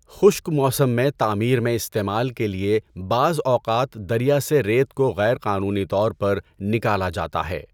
خشک موسم میں تعمیر میں استعمال کے لیے بعض اوقات دریا سے ریت کو غیر قانونی طور پر نکالا جاتا ہے۔